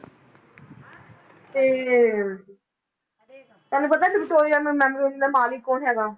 ਤੇ ਤੁਹਾਨੂੰ ਪਤਾ ਵਿਕਟੋਰੀਆ memorial ਦਾ ਮਾਲਿਕ ਕੌਣ ਹੈਗਾ।